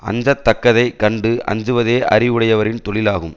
அஞ்ச தக்கதை கண்டு அஞ்சுவதே அறிவுடையவரின் தொழிலாகும்